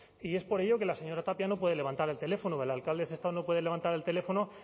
y es por ello que la señora tapia no puede levantar el teléfono o el alcalde de sestao no puede levantar el teléfono